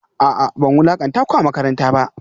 A'a ban wulakanta ku a makaranta ba